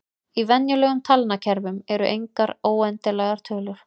Í venjulegum talnakerfum eru engar óendanlegar tölur.